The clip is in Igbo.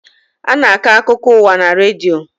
A na-akọ akụkọ ụwa na redio.